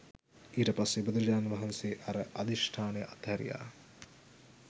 ඊට පස්සේ බුදුරජාණන් වහන්සේ අර අධිෂ්ඨානය අත්හැරියා